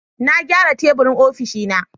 Na gyara teburin ofishina